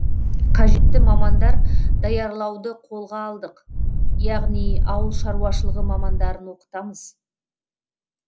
қажетті мамандар даярлауды қолға алдық яғни ауылшаруашылығы мамандарын оқытамыз